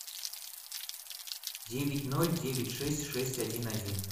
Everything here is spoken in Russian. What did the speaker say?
девять ноль девять шесть шесть один один